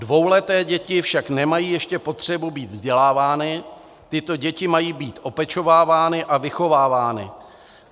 Dvouleté děti však nemají ještě potřebu být vzdělávány, tyto děti mají být opečovávány a vychovávány.